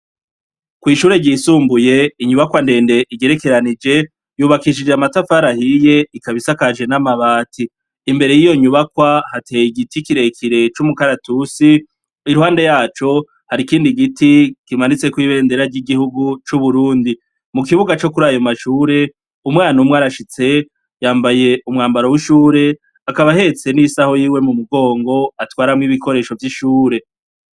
Kw'ishure ryisumbuye inyubakwa ndende igerekeranije, yubakishije amatafari ahiye, ikaba isakajwe n'amabati. Imbere y'iyo nyubakwa hateye igiti kirekire c'umukaratusi, iruhande yaco hari ikindi giti kimanitse kw'ibendera y'igihugu c'uburundi. Mu kibuga co kur'ayo mashure, umwana umwe arashitse, yambaye umwambaro w'ishure, akaba ahetse n'isaho yiwe mu mugongo atwaramwo ibikoresho vy'ishure.